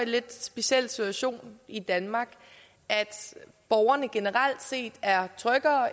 lidt specielle situation i danmark at borgerne generelt set er tryggere